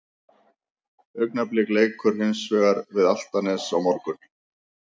Augnablik leikur hins vegar við Álftanes á morgun.